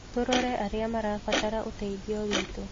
Tũrore arĩa marabatara ũteithio witũ.